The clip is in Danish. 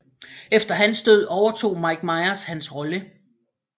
Efter hans død overtog Mike Myers hans rolle